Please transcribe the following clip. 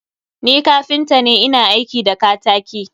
Ni kapinta ne, ina aiki da ktaki.